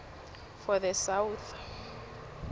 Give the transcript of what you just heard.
for the south